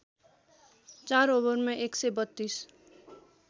४ ओभरमा १ सय ३२